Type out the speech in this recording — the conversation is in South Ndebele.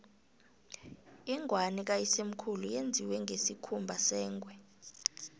ingwani kayisemkhulu yenziwe ngesikhumba sengwe